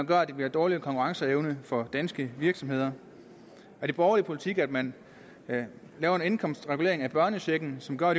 gør at der bliver dårligere konkurrenceevne for danske virksomheder er det borgerlig politik at man laver en indkomstregulering af børnechecken som går